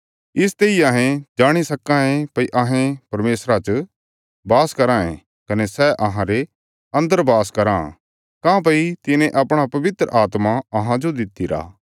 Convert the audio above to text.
इसते इ अहें जाणी सक्कां ये भई अहें परमेशरा च बास कराँ ये कने सै अहांरे अन्दर बास कराँ काँह्भई तिने अपणा पवित्र आत्मा अहांजो दितिरा